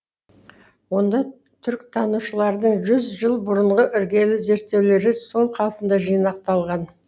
онда түріктанушылардың жүз жыл бұрынғы іргелі зерттеулері сол қалпында жинақталған